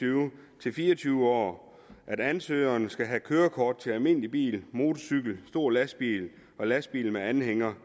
tyve år til fire og tyve år at ansøgeren skal have kørekort til almindelig bil motorcykel stor lastbil og lastbil med anhænger